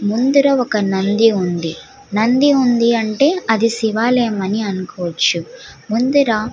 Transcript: ముందడ ఒక నంది ఉంది. నంది ఉంది అంటే అది ఒక శివాలయం అని అనుకోవచ్చు. ముందర --